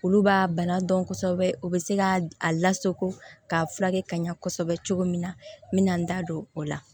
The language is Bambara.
Olu b'a bana dɔn kosɛbɛ o bɛ se k'a lasako k'a furakɛ ka ɲa kosɛbɛ cogo min na n bɛ na n da don o la